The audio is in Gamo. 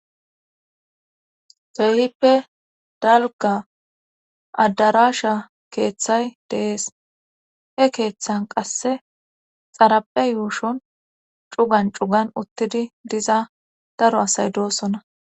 Soyhippe dalga adarasha keeththay deees he keeththan qasse xarape yuushon cugan cugan uttidi diza daro asay doosonna.